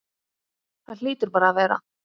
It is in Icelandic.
Það hlýtur bara að vera.